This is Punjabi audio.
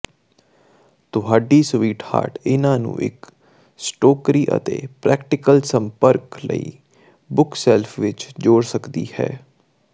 ਤੁਹਾਡੀ ਸਵੀਟਹਾਰਟ ਇਹਨਾਂ ਨੂੰ ਇੱਕ ਸਟੋਕਰੀ ਅਤੇ ਪ੍ਰੈਕਟੀਕਲ ਸੰਪਰਕ ਲਈ ਬੁਕਸੇਲਫ ਵਿੱਚ ਜੋੜ ਸਕਦੀ ਹੈ